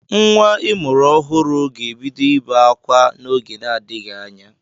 Nwa ịmụrụ ọhụrụ ga-ebido ibe akwa n'oge na-adịghị anya.